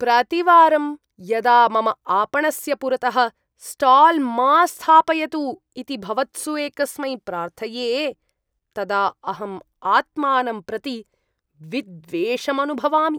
प्रतिवारं यदा मम आपणस्य पुरतः स्टाल् मा स्थापयतु इति भवत्सु एकस्मै प्रार्थये, तदा अहम् आत्मानं प्रति विद्वेषम् अनुभवामि।